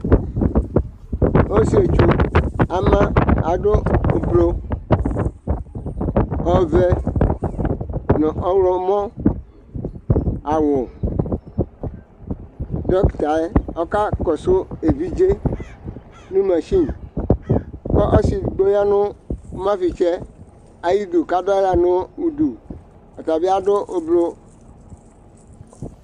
Ɔsietsʋ ama , adʋ ʋblʋ, ɔvɛ nʋ ɔɣlɔmɔ aɣʋ Dɔkta yɛ ɔka kɔsʋ evidze yɛ nʋ mashɩṇ Kʋ ɔsɩ edigbo ya nʋ ʋmafɩtsɩ yɛ ayʋ ɩdʋ kʋ adʋ aɣla nʋ ʋdʋ Ɔta bɩ adʋ ʋblʋ aɣʋ